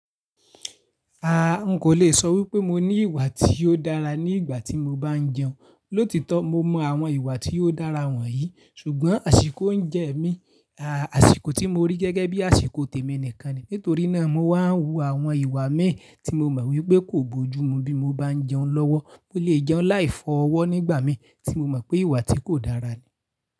Aà, n kò le sọ wípé mo ní ìwà tí ó dára ní ìgbà tí mo bá ń jẹun. Lóòtítọ́ mo mọ àwọn ìwà tí ó dára wọ̀nyí, ṣùgbọ́n àsìkò ń jẹ mí. Aà, àsìkò tí mo rí gẹ́gẹ́ bí àsìkò tèmi nìkan ni. Nítorí náà mo máa ń hu àwọn ìwà mi tí mo mọ̀ wípé kò bójú mu bí mo bá ń jẹun lọ́wọ́. Mo lè jẹun láì fọ́ ọwọ́ nígbà mí tí mo mọ̀ pé ìwà tí kò dára ni.